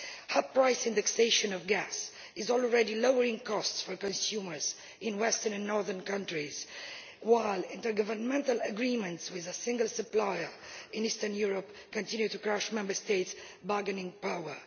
Hub price indexation of gas is already lowering costs for consumers in western and northern countries, while intergovernmental agreements with a single supplier in Eastern Europe continue to crush Member States' bargaining power.